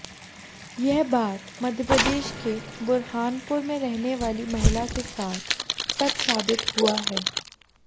यह बात मप्र के बुरहानपुर में रहने वाली महिला के साथ सच साबित हुआ है